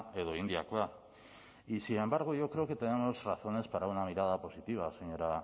edo indiakoa y sin embargo yo creo que tenemos razones para una mirada positiva señora